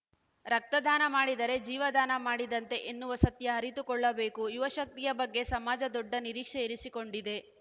ರಕ್ತದಾನ ಮಾಡಿದರೆ ಜೀವದಾನ ಮಾಡಿದಂತೆ ಎನ್ನುವ ಸತ್ಯ ಅರಿತುಕೊಳ್ಳಬೇಕು ಯುವಶಕ್ತಿಯ ಬಗ್ಗೆ ಸಮಾಜ ದೊಡ್ಡ ನಿರೀಕ್ಷೆ ಇರಿಸಿಕೊಂಡಿದೆ